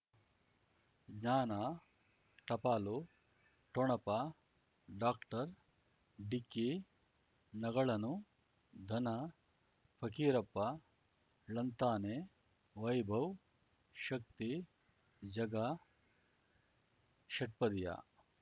ಜ್ಞಾನ ಟಪಾಲು ಠೊಣಪ ಡಾಕ್ಟರ್ ಢಿಕ್ಕಿ ಣಗಳನು ಧನ ಫಕೀರಪ್ಪ ಳಂತಾನೆ ವೈಭವ್ ಶಕ್ತಿ ಝಗಾ ಷಟ್ಪದಿಯ